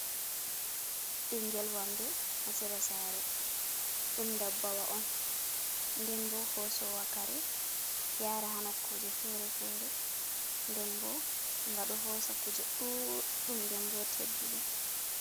Ɓingel wamde ha sera Sare. ɗum Dabbawa'on nden bo hosowa Kare yara ha Nokakuje Fere-fere, nden bo nga ɗo hosa Kuje ɗuɗɗum nden bo Tedduɗum.